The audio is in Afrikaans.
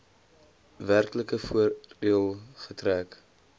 werklike voordeel getrek